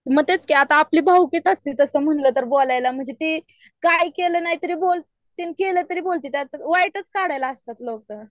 मग तेच की आपली भाऊकीच असती तसं म्हणलं तर बोलायला म्हणजे ती काय केलं नाहीतरी बोलती आणि केलं तरी बोलती त्यात वाईटच काढायला असत्यात लोक .